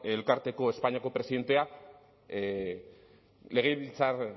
elkarteko espainiako presidentea legebiltzar